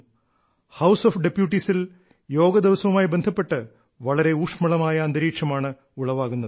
house of ഡെപ്യൂട്ടീസിൽ യോഗ ദിവസവുമായി ബന്ധപ്പെട്ട് വളരെ ഊഷ്മളമായ അന്തരീക്ഷമാണ് ഉളവാകുന്നത്